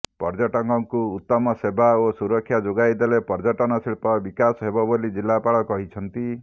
ପର୍ଯ୍ୟଟକଙ୍କୁ ଉତ୍ତମ ସେବା ଓ ସୁରକ୍ଷା ଯୋଗାଇ ଦେଲେ ପର୍ଯ୍ୟଟନ ଶିଳ୍ପ ବିକାଶ ହେବ ବୋଲି ଜିଲ୍ଲାପାଳ କହିଛନ୍ତି